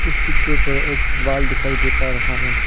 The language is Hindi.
इस पिक्चर पर एक वॉल दिखाई दे पा रहा है।